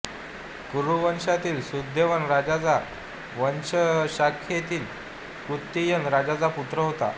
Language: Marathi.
कुरुवंशातील सुधन्वन् राजाच्या वंशशाखेतील कृतयज्ञ राजाचा हा पुत्र होता